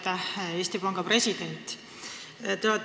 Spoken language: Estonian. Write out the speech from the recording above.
Aitäh, Eesti Panga president!